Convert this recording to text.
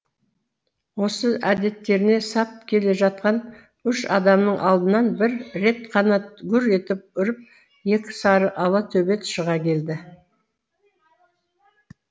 осы әдеттеріне сап келе жатқан үш адамның алдынан бір рет қана гүр етіп үріп екі сары ала төбет шыға келді